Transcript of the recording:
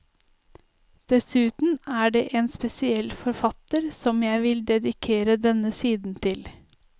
Dessuten så er det en spesiell forfatter som jeg vil dedikere denne siden til.